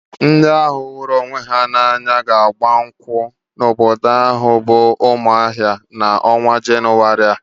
Ndị ahụ hụrụ onwe ha n'anya ga-agba nkwụ n'obodo ha bụ Umuahia n'ọnwa Jenụwarị a.